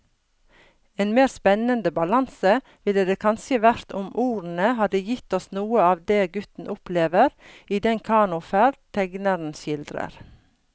En mer spennende balanse ville det kanskje vært om ordene hadde gitt oss noe av det gutten opplever i den kanoferd tegneren skildrer.